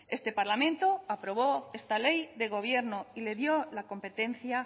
este parlamento aprobó esta ley de gobierno y le dio la competencia